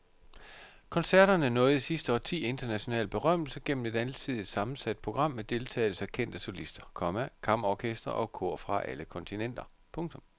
Koncerterne nåede i sidste årti international berømmelse gennem et alsidigt sammensat program med deltagelse af kendte solister, komma kammerorkestre og kor fra alle kontinenter. punktum